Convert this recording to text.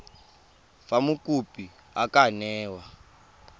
fa mokopi a ka newa